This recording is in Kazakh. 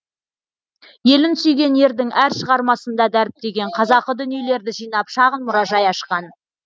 елін сүйген ердің әр шығармасында дәріптеген қазақы дүниелерді жинап шағын мұражай ашқан